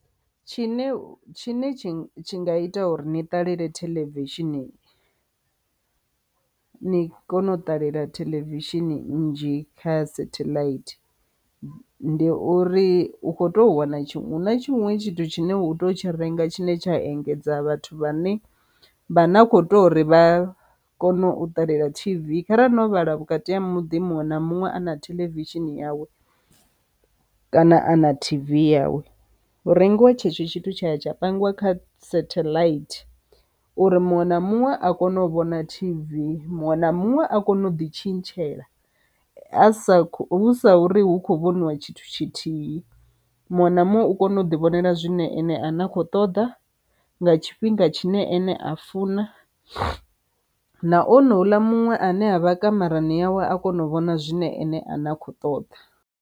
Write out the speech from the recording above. Tshine tshine tshi tshi nga ita uri ni ṱalele television ni kone u ṱalela television nnzhi kha satellite, ndi uri u khou tou wana tshiṅwe huna tshiṅwe tshithu tshine u tea u tshi renga tshine tsha engedza vhathu vha ne vha na kho tea uri vha kone u ṱalela T_V. Kharali no vhala vhukati ha muḓi muṅwe na muṅwe a na television yawe kana a na T_V yawe hu rengiwa tshetsho tshithu tsha tsha pangiwa kha setheḽaithi, uri muṅwe na muṅwe a kone u vhona T_V. Muṅwe na muṅwe a kone u ḓi tshintshela a sa hu sa uri hu kho vhoniwa tshithu tshithihi muṅwe na muṅwe u kona u ḓi vhonala zwine ene a nakho ṱoḓa nga tshifhinga tshine ane a funa na ono ula muṅwe ane a vha kamarani yawe a kona u vhona zwine ene a ne a khou ṱoḓa.